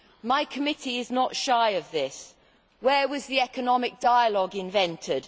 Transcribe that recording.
My committee is not shy of this. Where was the economic dialogue invented?